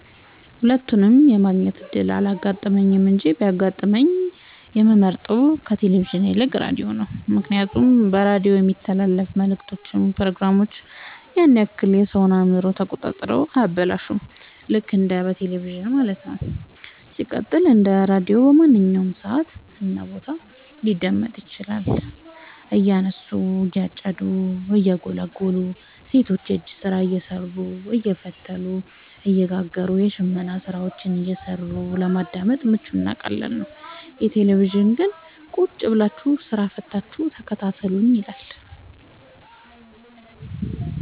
ሁለቱንም የማግኘት እድል አላጋጠመኝም እንጂ ቢያጋጥመኝ የምመርጠው ከቴሌቪዥን ይልቅ ራዲዮን ነው ምክንያቱም በራዲዮ የሚተላለፍት መልክቶች ፕሮግራሞች ያን ያክል የሰወን አእምሮ ተቆጣጥረው አያበላሹም ልክ እንደ በቴለቪዥን ማለት ነው። ሲቀጥል ደግሞ ራዲዮ በማንኛውም ሰዓት እና ቦታ ሊደመጥ ይችላል። እያረሱ የጨዱ እየጎሉ ሰቶች የእጅ ስራ እየሰሩ አየፈተሉ እየጋገሩም የሽመና ስራዎችን እየሰሩ ለማዳመጥ ምቹ እና ቀላል ነው። የቴሌቪዥን ግን ቁጭብላችሁ ስራ ፈታችሁ ተከታተሉኝ ይላል።